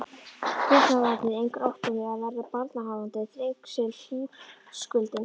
Getnaðarvarnir engar, óttinn við að verða barnshafandi, þrengslin, húskuldinn.